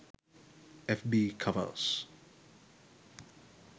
fb covers